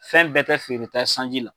Fɛn bɛɛ tɛ feereta ye sanji la